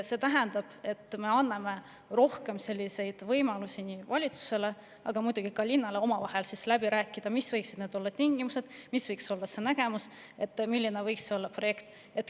See tähendab, et me anname rohkem võimalusi valitsusele ja linnale omavahel läbi rääkida, mis võiksid olla need tingimused, mis võiks olla see nägemus, milline võiks olla projekt.